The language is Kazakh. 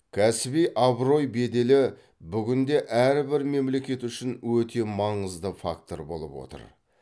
кәсіби абырой беделі бүгінде әр бір мемлекет үшін өте маңызды фактор болып отыр